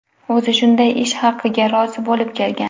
O‘zi shunday ish haqiga rozi bo‘lib kelgan.